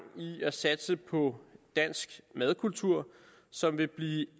i at satse på dansk madkultur som vil blive